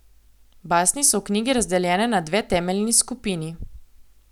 Basni so v knjigi razdeljene na dve temeljni skupini.